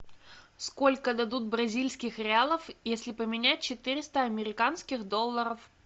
сколько дадут бразильских реалов если поменять четыреста американских долларов